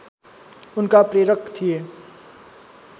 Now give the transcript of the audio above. उनका प्रेरक थिए